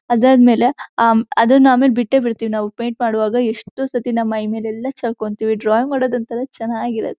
ಅದಾದಮೇಲೆ ಆಹ್ ಅದನ್ನ ಆಮೇಲೆ ಬಿಟ್ಟೆಬಿಡತ್ತಿವಿ ನಾವು ಪೇಯಿಂಟ್ ಮಾಡವಾಗ ಎಷ್ಟೋ ಸತಿ ನಮ್ಮ ಮೈಮೇಲೆಲೆಲ್ಲಾ ಚಲಕೊಂತ್ತೀವಿ ಡ್ರಾಯಿಂಗ್ ಮಾಡೋದ್ ಒಂತರಾ ಚನ್ನಗಿ--